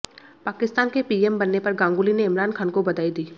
पाकिस्तान के पीएम बनने पर गांगुली ने इमरान खान को बधाई दी